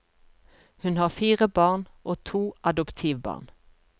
Hun har fire barn og to adoptivbarn.